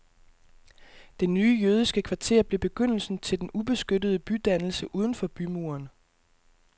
Det nye jødiske kvarter blev begyndelsen til den ubeskyttede bydannelse uden for bymuren.